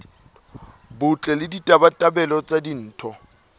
botle le ditabatabelo tsa ditho